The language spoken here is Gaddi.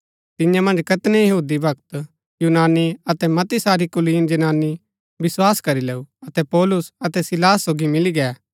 तियां मन्ज कैतनै यहूदी भक्त यूनानी अतै मती सारी कुलीन जनानी विस्वास करी लैऊ अतै पौलुस अतै सीलास सोगी मिली गै